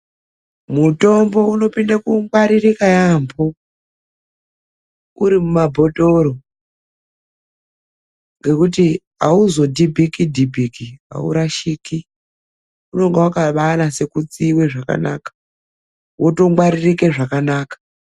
Mutombo unopinda kungwaririka yaambo uri mumabhotoro, ngekuti auzodhibhiki-dhibhiki. Aurashiki, unonga wakabaanase kutsiiwe zvakanaka wotongwaririke zvakanaka.